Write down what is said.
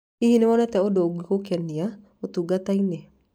Hihi nĩ wonete ũndũ ũngĩgũkenia ũtungata-inĩ?